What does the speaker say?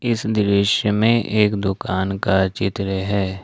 इस दृश्य में एक दुकान का चित्र है।